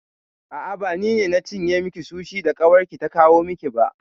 A'a, ba ni na cinye miki sushi da ƙawarki ta kawo miki ba.